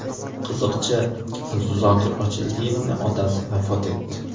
Qiziqchi Zokir Ochildiyevning otasi vafot etdi.